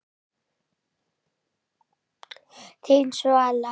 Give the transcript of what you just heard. Þín, Svala.